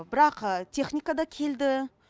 бірақ техника да келді